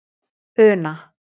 Una